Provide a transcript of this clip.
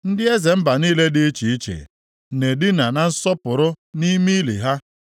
Ndị eze mba niile dị iche iche na-edina na nsọpụrụ nʼime ili ha.